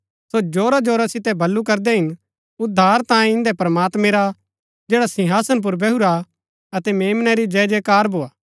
सो जोरा जोरा सितै बल्लू करदै हिन उद्धार तांयें इंदै प्रमात्मैं रा जैडा सिंहासन पुर बैहुरा हा अतै मेम्ना री जयजयकार भोआ